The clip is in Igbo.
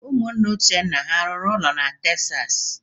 Ụmụnne Uchenna ha rụrụ ụlọ na Texas?